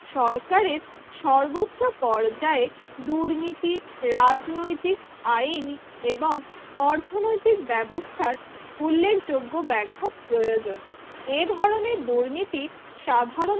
সরকারের সর্বোচ্চ পর্যায়ে দুর্নীতি রাজনৈতিক আইন এবং অর্থনৈতিক ব্যবস্থার উল্লেখযোগ্য ব্যাঘাত প্রয়োজন এ ধরনের দুর্নীতি সাধারণত